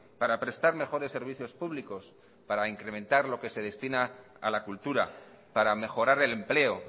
para prestar mejores servicios públicos para incrementar lo que se destina a la cultura para mejorar el empleo